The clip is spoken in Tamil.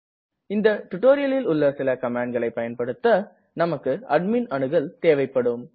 இந்த டுடோரியலில் உள்ள சில கமாண்ட்களை பயன்படுத்த நமக்கு அட்மிண் அணுகல் தேவைப்படும்